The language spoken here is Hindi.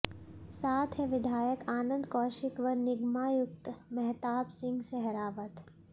साथ है विधायक आनन्द कौशिक व निगमायुक्त महताब सिंह सहरावत